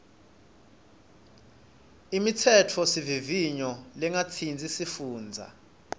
imitsetfosivivinyo lengatsintsi tifundza